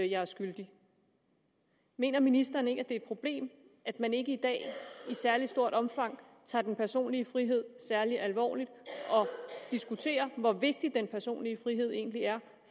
jeg er skyldig mener ministeren ikke at det er et problem at man ikke i dag i særlig stort omfang tager den personlige frihed særlig alvorligt og diskuterer hvor vigtig den personlige frihed egentlig er